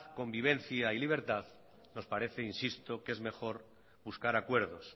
convivencia y libertad nos parece insisto que es mejor buscar acuerdos